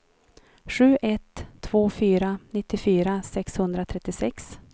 sju ett två fyra nittiofyra sexhundratrettiosex